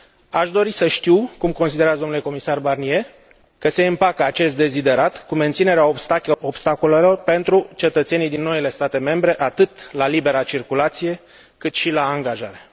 Aș dori să știu cum considerați, domnule comisar Barnier, că se împacă acest deziderat cu menținerea obstacolelor pentru cetățenii din noile state membre atât la libera circulație, cât și la angajare?